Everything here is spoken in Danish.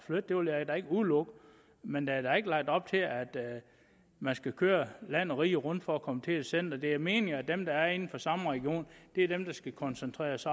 flytte det vil jeg da ikke udelukke men der er da ikke lagt op til at man skal køre land og rige rundt for at komme til et center det er meningen at dem der er inden for samme region er dem der skal koncentreres